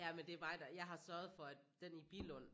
Ja men det er mig der jeg har sørget for at den i Billund